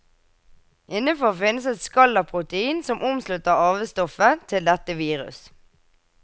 Innenfor finnes et skall av protein som omslutter arvestoffet til dette virus.